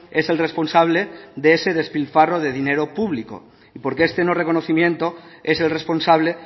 es el responsable de ese despilfarro de dinero público y porque este no reconocimiento es el responsable